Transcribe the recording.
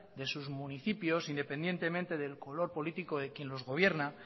de sus municipios independientemente del color político de quien los gobierna